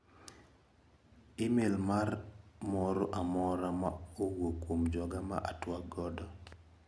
Imel mara moro amora ma owuok kuom joga ma atuak godo?